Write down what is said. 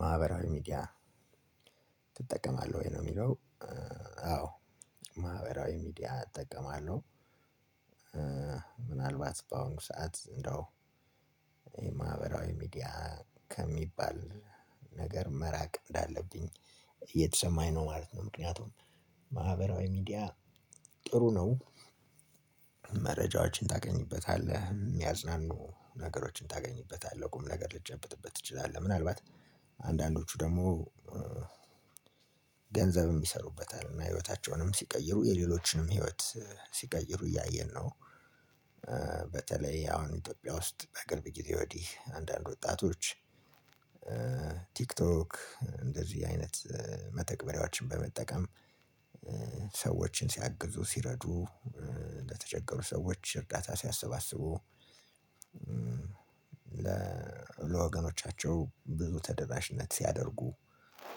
ማህበራዊ ሚዲያ ትጠቀማለህ ወይ? ለሚለው አዎ ማህበራዊ ሚዲያ እጠቀማለሁ ምናልባት በአሁን ሰዓት እንደው የማህበራዊ ሚዲያ ከሚባል ነገር መራቅ እንዳለብኝ የተሰማኝ ነው ማለት ነው። ምክንያቱም ማህበራዊ ሚዲያ ጥሩ ነው። መረጃዎችን ታገኛበታለህ የሚያዝናኑ ነገሮችን ታገኝበታለህ ቁም ነገሮችን ታገኝበታለህ ቁም ነገር ልትጨብጥበት ትችላለህ። አንዳንዶቹ ደግሞ ገንዘብም ይሰሩበታል እና ህይወታቸውንም ሲቀይሩ የሌሎችንም ህይወት ሲቀይሩ እያየን ነው። በተለይ አሁን ኢትዮጵያ ውስጥ ከቅርብ ግዜ ወዲህ አንዳንድ ወጣቶች ቲክቶክ እንደዚህ አይነት መተግበሪያዎችን በመጠቀም ሰዎችን ሲያግዙ ሲረዱ ለተቸገሩ ሰዎች እርዳታ ሲያሰባስቡ። ለወገኖቻቸው ብዙ ተደራሽነት ሲያደርጉ